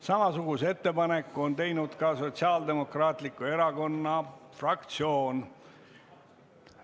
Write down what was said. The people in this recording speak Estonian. Samasuguse ettepaneku on teinud ka Sotsiaaldemokraatliku Erakonna fraktsioon.